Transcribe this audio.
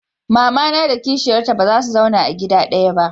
mamana da kishiyar ta baza su zauna a gida ɗaya ba